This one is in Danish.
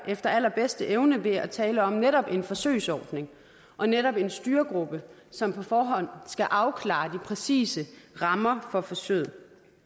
efter allerbedste evne ved at tale om netop en forsøgsordning og netop en styregruppe som på forhånd skal afklare de præcise rammer for forsøget